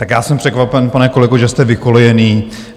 Tak já jsem překvapen, pane kolego, že jste vykolejený.